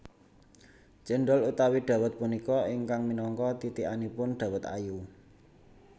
Céndhol utawi dawet punika ingkang minangka titikanipun dawet ayu